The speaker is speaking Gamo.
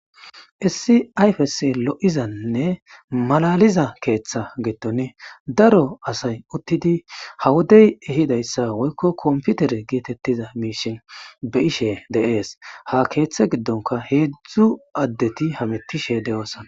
Issi ayfes lo'izanne malaliza keeththe geton daro asay uttidi ha wodey ehidayssa woykko komputere geetettiza miishin be ishe deees ha keeththe giddonka heedzdzu addeti hamettishe de'oosana